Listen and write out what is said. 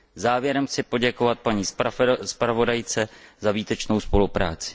Závěrem chci poděkovat paní zpravodajce za výtečnou spolupráci.